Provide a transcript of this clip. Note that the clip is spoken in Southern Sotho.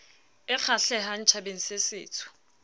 e kgahlehang tjhabeng se setsho